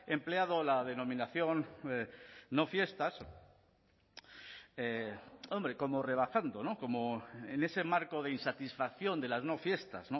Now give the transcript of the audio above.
empleado la denominación no fiestas hombre como rebajando como en ese marco de insatisfacción de las no fiestas